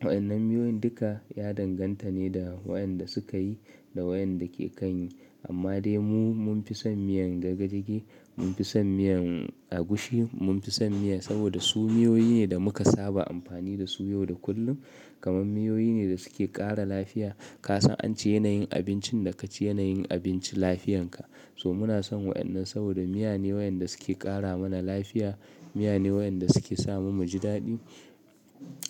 Wa'yan nan miyoyin duka ya danganta ne da wayan da suka yi da wayan da ke kan yi. Amma dai mu mun fi son miyan jagejage, mun fi son miyan agushi, mun fi son miya saboda su miyoyi ne da muka saba amfani da su yau da kullum. Kaman miyoyi ne da suke ƙara lafiya. Ka san an ce yanayin abincin da ka ci yanayin abinci lafiyanka. So muna son wa'yan nan saboda miya ne wayan da suke ƙara mana lafiya, miya ne wayan da suke sa mu muji daɗi.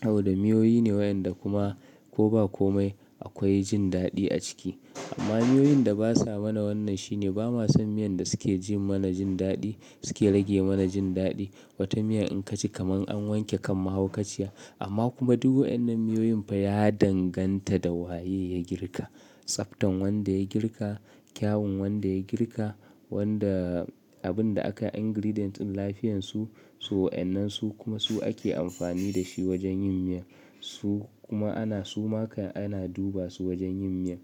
Saboda miyoyi ne wayan da kuma ko ba komai akwai jin daɗi a ciki. Amma miyoyin da basa mana wannan shine ba ma son miyan da suke ji mana jin daɗi suke rage mana jin daɗi. Wata miya in ka ci kamar an wanke kan mahaukaciya amma kuma duk wa'yan nan miyoyin fa ya danganta da waye ya girka. Tsaftan wanda ya girka, kyawun wanda ya girka, wanda abun da aka ingredient lafiyansu. So wa'yan nan su kuma su ake amfani da shi wajen yin miya. Su kuma ana su ma ka ana duba su wajen yin miya.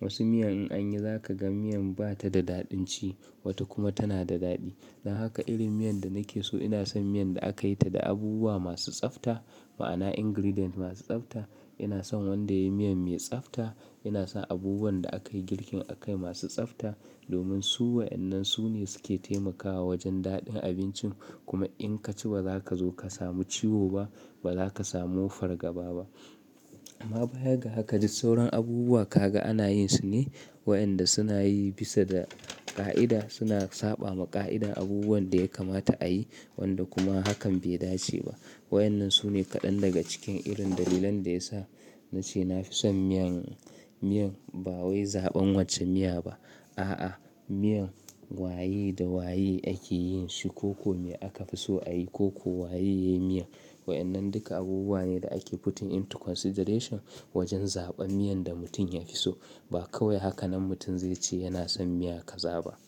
Wasu miyan in anyi za ka ga miyan bata da daɗin ci wata kuma tana da daɗi. Dan haka irin miyan da nake so ina son miyan da aka yi ta da abubuwa masu tsafta ma'ana ingredient masu tsafta. Ina son wanda yayi miyan mai tsafta, ina son abubuwan da aka yi girkin aka yi masu tsafta domin su wa'yan nan su ne suke taimakawa wajen daɗin abincin kuma in ka ci ba za ka zo ka samu ciwo ba, ba za ka samu fargaba ba. Amma baya ga haka ji sauran abubuwa ka ga ana yin su ne wayan da suna yi bisa da ƙa'ida suna saɓa ma ƙa'ida abubuwan da ya kamata a yi wanda kuma hakan bai dace ba. Wayan nan su ne kaɗan daga cikin irin dalilan da ya sa na ce na fi son miyan, miyan ba wai zaɓan wacce miya ba. A'a, miyan waye da waye ake yin shi ko ko me aka fi so a yi ko ko waye ya yi miya. Wayan nan duka abubuwa ne da ake futin into consideration wajen zaɓan miyan da mutum ya hi so. Ba kawai haka nan mutum zai ce yana son miya ka za ba.